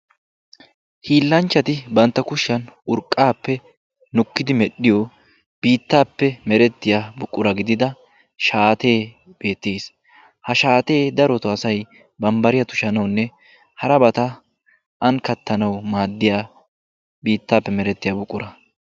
hiilanchchati bantta kushiyaan nukkid medhdhiyo biittappe meretiya buquraa gidiyaa shaatee beettees. ha shaatee darotoo asay bambbariya tushshanawunne harabata an kattanaw maaddiya biittappe meretiyaa buqura.